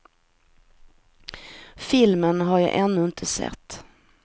Filmen har jag ännu inte sett.